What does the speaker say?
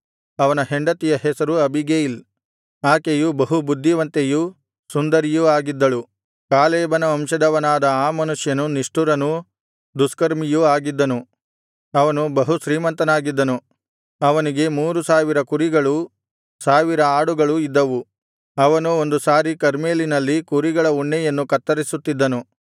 ಅವನ ಹೆಂಡತಿಯ ಹೆಸರು ಅಬೀಗೈಲ್ ಆಕೆಯು ಬಹು ಬುದ್ಧಿವಂತೆಯೂ ಸುಂದರಿಯೂ ಆಗಿದ್ದಳು ಕಾಲೇಬನ ವಂಶದವನಾದ ಆ ಮನುಷ್ಯನು ನಿಷ್ಠುರನೂ ದುಷ್ಕರ್ಮಿಯೂ ಆಗಿದ್ದನು ಅವನು ಬಹು ಶ್ರೀಮಂತನಾಗಿದ್ದನು ಅವನಿಗೆ ಮೂರು ಸಾವಿರ ಕುರಿಗಳೂ ಸಾವಿರ ಆಡುಗಳೂ ಇದ್ದವು ಅವನು ಒಂದು ಸಾರಿ ಕರ್ಮೆಲಿನಲ್ಲಿ ಕುರಿಗಳ ಉಣ್ಣೆಯನ್ನು ಕತ್ತರಿಸುತ್ತಿದ್ದನು